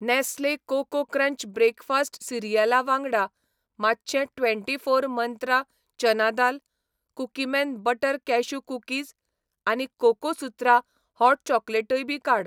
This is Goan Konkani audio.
नॅस्ले कोको क्रंच ब्रेकफास्ट सिरियला वांगडा, मातशें twenty four Mantra chana dal , Cookieman butter cashew cookies आनी कोकोसुत्रा हॉट चॉकोलेटय बी काड.